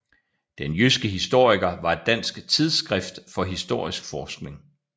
Den jyske historiker var et dansk tidsskrift for historisk forskning